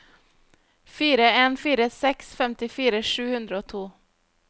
fire en fire seks femtifire sju hundre og to